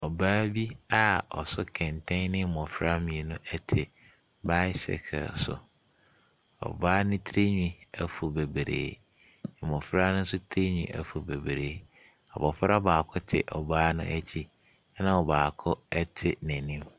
Ɔbaa bi a ɔso kɛntɛn ɛne mmɔfra mmienu ɛte baasekere so. Ɔbaa ne ti hwi afu bebree, mmɔfra no nso tiri hwi afu bebree. Abɔfra baako te ɔbaa no akyi na ɔbaako ɛte n’anim.